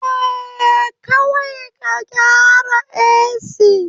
Eh, kawai ka gyara AC